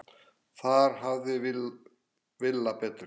Þar hafði Villa betur.